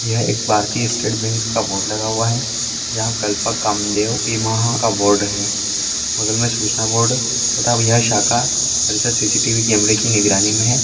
यह एक भारतीय स्टेट बैंक का बोर्ड लगा हुआ है यहाँ कल्पक कामदेव बिमहा का बोर्ड हैं बगल में सूचना बोर्ड तथा यह शाखा परिसर सी. सी. टी. वी. कैमरे की निगरानी में है।